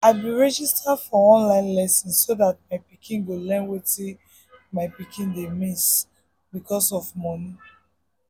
i be register for online lesson so that my pikin go learn wetin my pikin dey miss because of money.